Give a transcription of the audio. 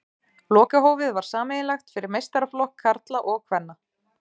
Lokahófið var sameiginlegt fyrir meistaraflokk karla og kvenna.